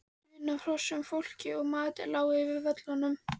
Daunn af hrossum, fólki og mat lá yfir völlunum.